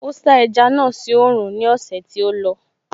Ó sá ẹja náà sí oòrùn ní ọ̀sẹ̀ tí ó lọ